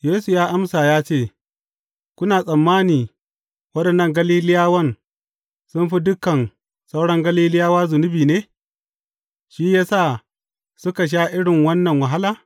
Yesu ya amsa ya ce, Kuna tsammani waɗannan Galiliyawan sun fi dukan sauran Galiliyawa zunubi ne, shi ya sa suka sha irin wannan wahala?